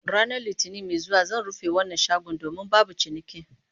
Ranar Litinin mai zuwa zan rufe wannan shagon domin babu ciniki